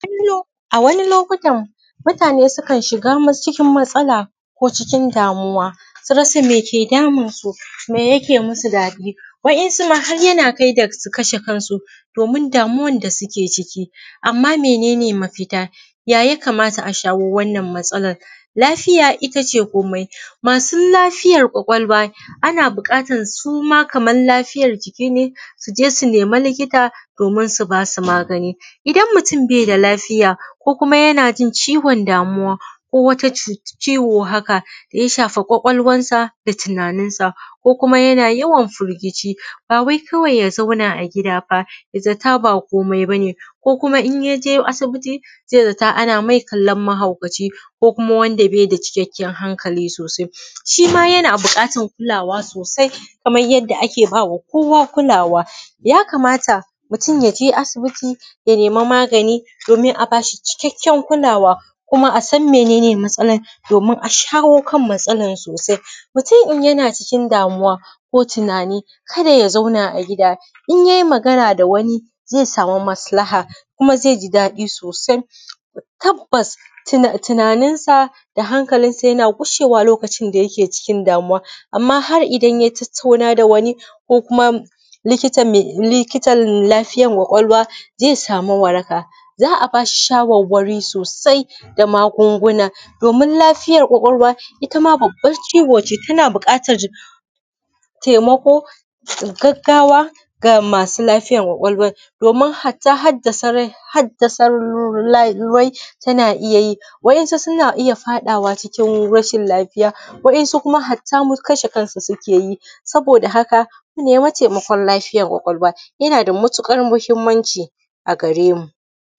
Kallo a wani lokutan mutane sukan shiga cikin matsala, ko cikin damuwa, su rasa me ke damunsu? Me yake musu daɗi? Wa’insuma har yana kai da su kashe kansu, domin damuwan da suke ciki. Amma mene ne mafita? Ya yakamata a shawo wannan matsalan? Lafiya ita ce komai, masu lafiyar ƙwaƙwalwa, ana buƙatan suma kaman lafiyar jiki ne, su je su nema likita domin su basu magani. Idan mutum beda lafiya, ko kuma yana jin ciwon damuwa, ko wata ciwo haka daya shafa ƙwaƙwalwansa da tunaninsa, ko kuma yana yawan firgici, bawai kawai ya zauna a gida ba, ya zata ba komai bane, ko kuma in yaje asibiti, zai zata ana mai kollon mahaukaci ko kuma wanda beda cikakken hankali sosai, shi ma yana bukatan kulawa sosai, kamar yadda ake bama kowa kulawa. Ya kamata mutum ya je asibiti ya nema magani, domin a bashi kikakken kulawa kuma asan mene ne matsalan, domin a shawo kan matsalan sosai. Mutum in yana cikin damuwa ko tunani kada ya zauna a gida, in ye magana da wani zai samu maslaha, kuma zai ji dadi sosai. Tabbas tunaninsa da hankalinsa yana gushewa lokacin da yake cikin damuwa, amma har idan ya tattauna da wani, ko kuma likita, likitan lafiyar ƙwaƙwalwa, zai samu waraka, za a bashi shawarwari sosai da magunguna, domin lafiyar ƙwaƙwalwa itama babban ciwo ne tana buƙatar taimako gaggawa ga masu lafiyar ƙwaƙwalwa, domin hata haddasa lar, haddasa larai tana iya yi, wa’insu suna iya faɗawa cikin rashin lafiya, wa’insu kuma hatta kashe kansu suke yi. Saboda haka mu nema taimakon lafiyar ƙwaƙwalwa, yana da matuƙar mahimmanci a garemu.